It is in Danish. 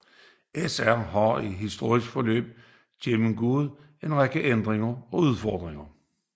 SR har i historiens løb gennemgået en række ændringer og udfordringer